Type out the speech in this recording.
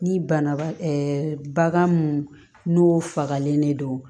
Ni banabaa bagan mun n'o fagalen de don